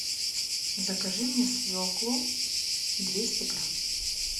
закажи мне свеклу двести грамм